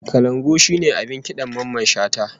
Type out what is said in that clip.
Kalangu shine abin kidan Mamman Shata